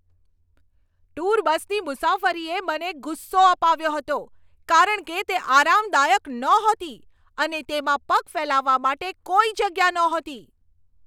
Tour બસની મુસાફરીએ મને ગુસ્સો અપાવ્યો હતો, કારણ કે તે આરામદાયક નહોતી અને તેમાં પગ ફેલાવવા માટે કોઈ જગ્યા નહોતી.